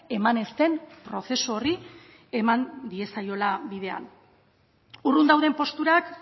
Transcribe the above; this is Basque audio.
eman ez den prozesu horri eman diezaiola bidea urrun dauden posturak